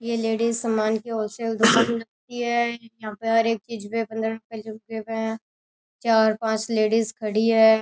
ये लेडीज़ सामान की होलसेल दुकान लगती है यहां हर एक चीज़ पे पंद्रह रुपए चार पांच लेडीज़ खड़ी हैं।